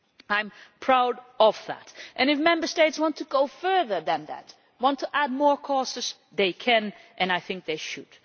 I am proud of that, and if Member States want to go further than that, if they want to add more causes, they can, and I think they should.